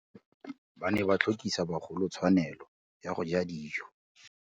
Ba ne ba tlhokisa bagolo tswanelô ya go ja dijô.